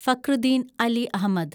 Fakhruddin Ali Ahmad